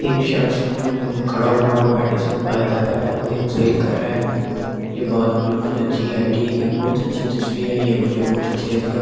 एक शख्स खड़ा हुआ मेडिसन बाय कर रहा है और एक सेल कर रहा है ये बात बिल्कुल अच्छी है ठीक है बहुत अच्छी तस्वीर है ये मुझे बहुत अच्छी लगी अब --